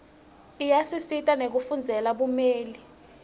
iyasisita nekufundzela bumeli